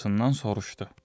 Bacısından soruşdu.